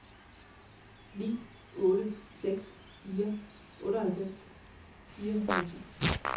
ni otte seks fire otteoghalvfems fire hundrede og ti